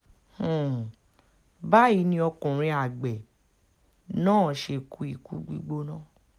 um báyìí ni ọkùnrin àgbẹ̀ um náà ṣe kú ikú gbígbóná